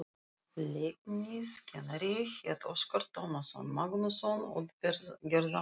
Leikfimiskennarinn hét Óskar Tómasson, Magnússonar út- gerðarmanns.